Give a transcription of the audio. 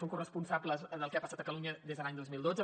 són corresponsables del que ha passat a catalunya des de l’any dos mil dotze